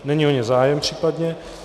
Není o ně zájem případně.